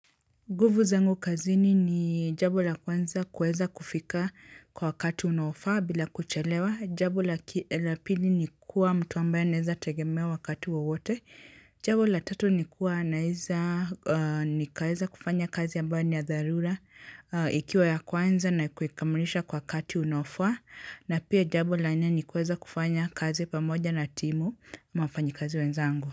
Nguvu zangu kazini ni jabo la kwanza kuweza kufika kwa wakati unaofaa bila kuchelewa. Jabo la pili ni kuwa mtu ambaye anaweza tegemewa wakati wowote. Jambo la tatu ni kuwa naeza nikaweza kufanya kazi ambayo ni ya dharura ikiwa ya kwanza na kuikamilisha kwa wakati unaofa. Na pia jabo la nne ni kuweza kufanya kazi pamoja na timu ama wafanyikazi wenzangu.